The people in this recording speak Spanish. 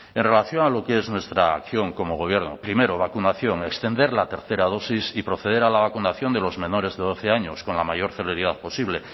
en relación a lo que es nuestra acción como gobierno primero vacunación extender la tercera dosis y proceder a la vacunación de los menores de doce años con la mayor celeridad posible